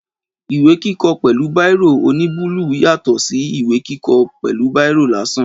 Ìwé kíkọ pẹ̀lú bírò oní bọọlu yàtọ̀ sí ìwé kíkọ pẹ̀lú bírò lásán